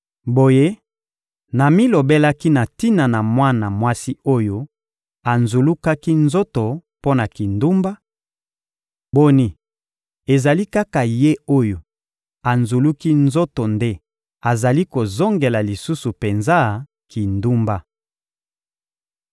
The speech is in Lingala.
Boye, namilobelaki na tina na mwana mwasi oyo anzulukaki nzoto mpo na kindumba: ‹Boni, ezali kaka ye oyo anzuluki nzoto nde azali kozongela lisusu penza kindumba!›